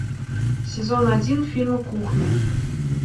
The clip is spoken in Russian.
сезон один фильма кухня